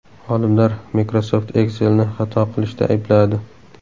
Olimlar Microsoft Excel’ni xato qilishda aybladi.